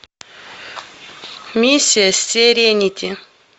миссия серенити